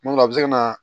Tuma dɔ la a bɛ se ka na